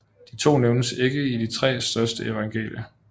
De to nævnes ikke i de tre første evangelier